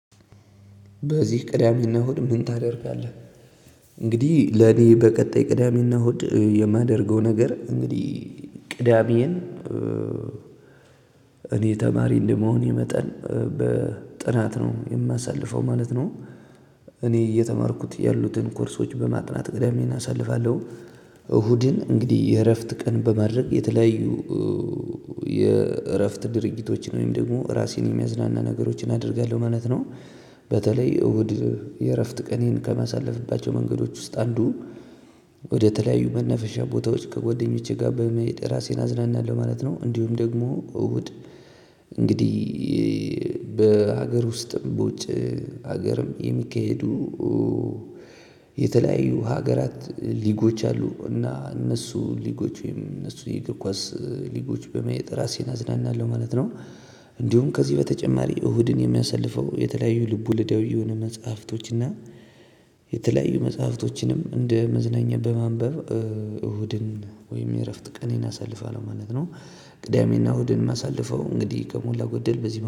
በዚህ ቅዳሜና ሁድ ምን ታደርጋለህ? እንግዲህ ለኔ በቀጣይ ቅዳሜና እሁድ የማደርገውን ነገር እንግዲህ ቅዳሜን እኔ ተማሪ እንደመሆኔ መጠን በጥናት ነው የማሳልፈው ማለት ነው። እኔ እየተማርኩት ያሉትን ኮርሶች በማጥናት ቅዳሜን አሳልፋለሁ። እሁድን እንግዲህ የእረፍት ቀን በማድረግ የተለያዩ የእረፍት ድርጊቶችን ወይም ደግሞ ራሴን የሚያዝናና ነገሮችን አደርጋለሁ አይነት ነው። በተለይ እሁድ የእረፍት ቀኔን ከማሳለፍባቸው መንገዶች ውስጥ አንዱ ወደተለያዩ መናፈሻ ቦታዎች ከጓደኞቼ ጋር በመሄድ ራሴን አዝናናለሁ ማለት ነው። እንዲሁም ደግሞ እሁድ እንግዲህ በሀገር ውስጥም በውጭ ሀገርም የሚካሄዱ የተለያዩ ሀገራት ሊጎች አሉ እና እነሱ ሊጎች ወይም እነሱ የእግር የኳስ ሊጎች በማየት ራሴን አዝናናለሁ ማለት ነው። እንዲሁም ከዚህ በተጨማሪ እሁድን የሚያሳልፈው የተለያዩ ልብ ወለዳዊ የሆነ መጽሐፍቶችና የተለያዩ መጽሐፍቶችንም እንደ መዝናኛ በማንበብ እሁድን ወይም የእረፍት ቀኔን አሳልፋለሁ ማለት ነው። ቅዳሜና እሁድን ማሳልፈው እንግዲህ ከሞላ ጎደል በዚህ